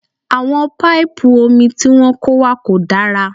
Àwọn paipu omi tí wọ́n kó wá kò dára